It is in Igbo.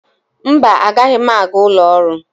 Mba, agaghị m aga ụlọ ọrụ.